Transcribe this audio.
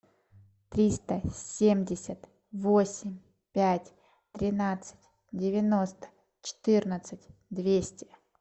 триста семьдесят восемь пять тринадцать девяносто четырнадцать двести